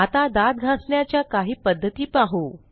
आता दात घासण्याच्या काही पध्दती पाहू